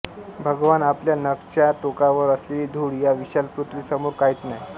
भगवान आपल्या नखच्या टोकावर असलेली धूळ या विशाल पुर्थ्वी समोर काहीच नाही